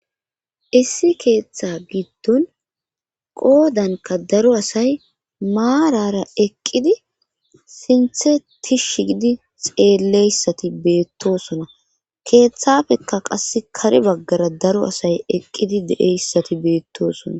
issi keeththa giddon qoodanka daro asay maarara eqqidi sinthe tishi gidi xeelleyssati beettosona keeththafekka qass kare baggara daro asay eqqidi de7eyssati beettosona